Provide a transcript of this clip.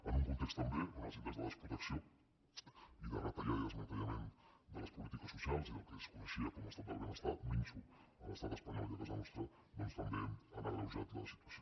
en un context també on els índexs de desprotecció i de retallada i desmantellament de les polítiques socials i del que es coneixia com estat del benestar minso a l’estat espanyol i a casa nostra doncs també han agreujat la situació